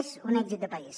és un èxit de país